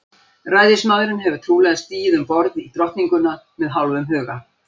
Ræðismaðurinn hefur trúlega stigið um borð í Drottninguna með hálfum huga.